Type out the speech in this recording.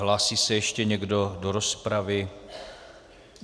Hlásí se ještě někdo do rozpravy?